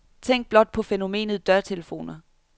Tænk blot på fænomenet dørtelefoner.